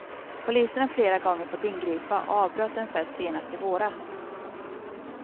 Polisen har flera gånger fått ingripa och avbröt en fest senast i våras.